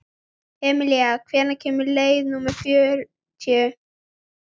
Emilía, hvenær kemur leið númer fjörutíu?